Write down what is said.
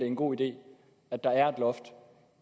en god idé at der er et loft